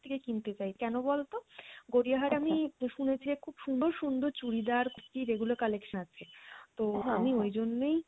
থেকে কিনতে চাই কেন বলতো? গড়িয়াহাট আমি শুনেছি যে খুব সুন্দর সুন্দর চুড়িদার কুর্তি regular collection আছে তো আমি ওইজন্যেই